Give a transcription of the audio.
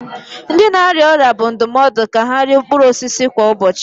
Ndị na-arịa ọrịa bụ ndụmọdụ ka ha rie mkpụrụ osisi kwa ụbọchị